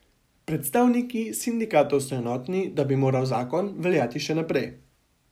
Predstavniki sindikatov so enotni, da bi moral zakon veljati še naprej.